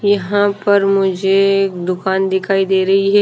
यहां पर मुझे एक दुकान दिखाई दे रही है।